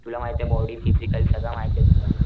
तुला माहितेय body physical सगळं माहितेय तुला.